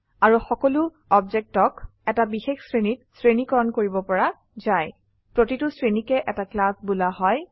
আৰু সকলো অবজেক্টকক এটা বিশেষ শ্ৰেণীত শ্ৰেণীকৰণ কৰিব পৰা যায় প্ৰতিটো শ্ৰেণীকে এটা ক্লাছ বোলা হয়